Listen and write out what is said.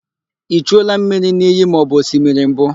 I chuola mmiri n'iyi maọbụ osimiri mbụ?